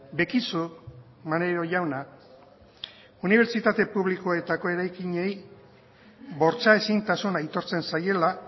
bekizu maneiro jauna unibertsitate publikoetako eraikinei bortxa ezintasuna aitortzen zaiela